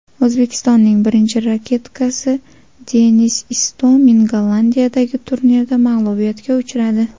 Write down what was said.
O‘zbekistonning birinchi raketkasi Denis Istomin Gollandiyadagi turnirda mag‘lubiyatga uchradi.